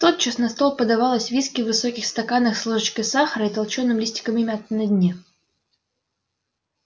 тотчас на стол подавалось виски в высоких стаканах с ложечкой сахара и толчёным листиками мяты на дне